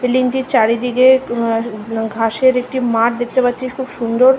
বিল্ডিংটির চারিদিকে উম উম ঘাসের একটি মাঠ দেখতে পারছি খুব সুন্দর।